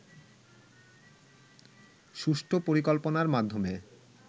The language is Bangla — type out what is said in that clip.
সুষ্ঠু পরিকল্পনার মাধ্যমে